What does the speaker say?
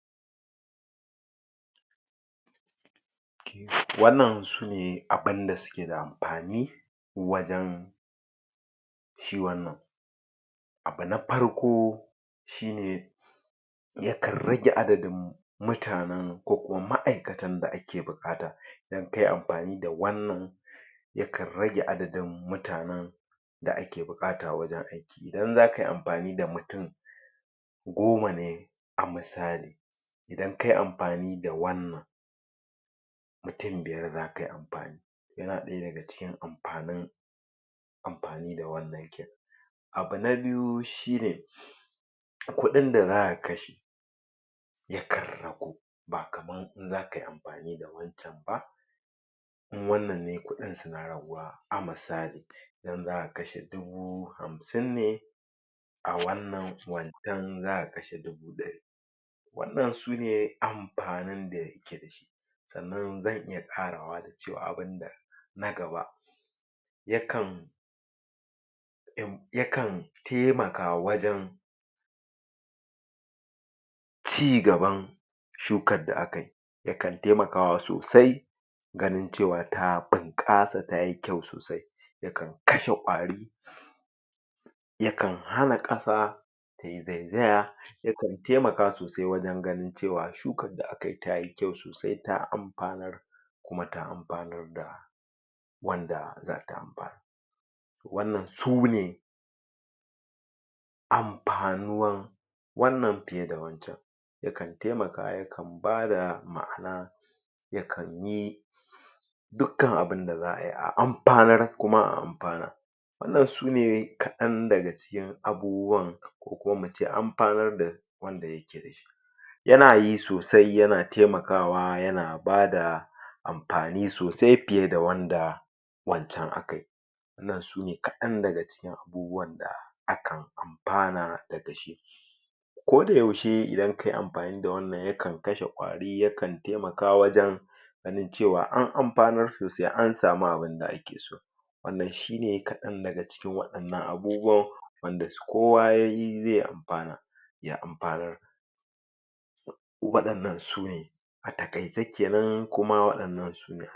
Wannan sune abun da suke da amfani wajan kiwon nan abu na farko shine yakan rage adadin mutanan ko kuma ma'aikatan da ake buƙata idan kai amfani da wannan yakan rage adadin mutanan da ake buƙata wajan aiki idan za kayi amfani da mutum goma ne a misali idan kayi amfani da wannan mutum biyar za kayi amfani yana ɗaya daga cikin amfanin amfani da wannan kenan abu na biyu shine kuɗin da za'a kashe yakan ragu ba kamar in zakayi amfani da wajan ba in wannan ne kuɗin suna raguwa, a misali idan zaka kashe dubu Hamsin ne a wannan, wannan zaka kashe dubu ɗari wannan sune amfani da yake dashi sannan zan iya ƙarawa da cewa abunda na gaba yakan ib yakan taimaka wajan cigaban shukar da akai yakan taimakawa sosai gani cewa ta bunƙasa tayi kyau sosai yakan kashe kwari yakan hana ƙasa tai zaizaya yakan taimaka sosai wajan ganin cewa shukar da akayi tayi kyau sosai ta amfanar kuma ta amfanar da wanda zata amfanar wannan sune amfanuwar wannan fiye da wancan yakan taimaka yakan bada ma'ana yakan yi dukan abunda za'ayi a amfanar kuma a amfana wannan sune kaɗan daga cikin abubuwan ko kuma amfanar da wanda yake dashi yana yi sosai yana taimakawa yana bada amfani sosai fiye da wanda wancan akai wannan sune kaɗan daga cikin abubawan da akan amfana daga shi ko da yaushe idan kayi amfani da wannan yakan kashe kwari, yakan taimaka wajan ganin cewa an amfanar sosai an samu abunda ake so wannan shine kaɗan daga cikin waɗannan abubuwan wanda kowa yayi zai amfana ya amfanar waɗannan sune a taƙaice kenan, kuma waɗannan a